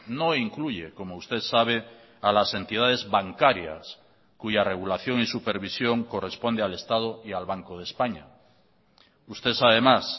no incluye como usted sabe a las entidades bancarias cuya regulación y supervisión corresponde al estado y al banco de españa usted sabe más